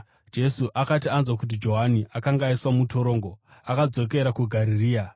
Jesu akati anzwa kuti Johani akanga aiswa mutorongo, akadzokera kuGarirea.